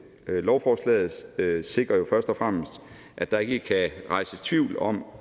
lovforslaget sikrer jo først og fremmest at der ikke kan rejses tvivl om